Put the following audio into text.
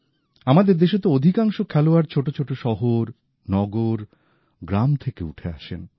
আমাদের দেশে তো অধিকাংশ খেলোয়াড় ছোটছোট শহর নগর গ্রাম থেকে উঠে আসেন